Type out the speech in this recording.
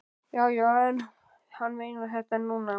Já, já, en hann meinar þetta núna.